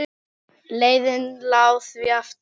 Leiðin lá því aftur á